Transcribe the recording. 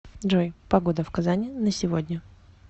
джой погода в казани на сегодня